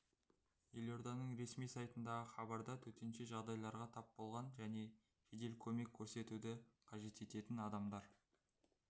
елорданың ресми сайтындағы хабарда төтенше жағдайларға тап болған және жедел көмек көрсетуді қажет ететін адамдар